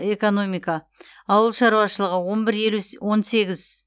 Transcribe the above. экономика ауыл шаруашылығы он бір елу с он сегіз